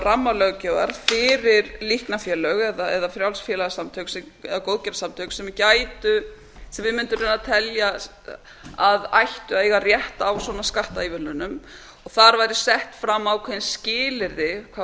rammalöggjafar fyrir líknarfélög eða frjáls félagasamtök eða góðgerðarsamtök sem við mundum raunar telja að ættu að eiga rétt á svona skattaívilnunum og þar væru sett fram ákveðin skilyrði hvað